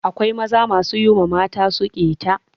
Akwai mazaje masu yi wa matan su ƙeta.